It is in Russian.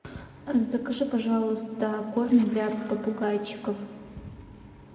закажи пожалуйста корм для попугайчиков